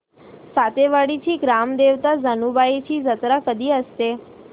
सातेवाडीची ग्राम देवता जानुबाईची जत्रा कधी असते